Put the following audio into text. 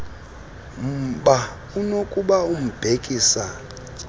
mba unokuba ubhekisa